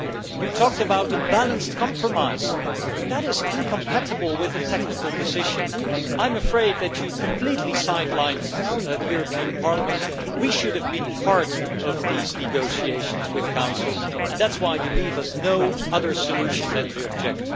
You talked about a balanced compromise, but that is incompatible with a technical decision. I am afraid that you have completely side lined the European Parliament we should have been part of these negotiations with Council, and that is why you leave us no other solution than to object.